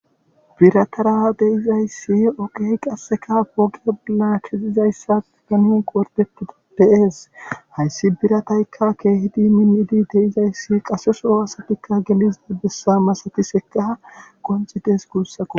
biratara deizayssi oqey qasseka poge laachizizayssa ganonqo wordetida pees hayssi birataykka keehidi minnidi deizayssi qaseso aasatikka gelizida bessa masati seka qoncitees guussako